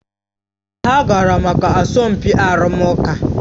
Ha gara maka asọmpi arụmụka